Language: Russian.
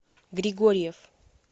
григорьев